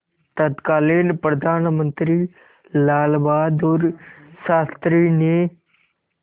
तत्कालीन प्रधानमंत्री लालबहादुर शास्त्री ने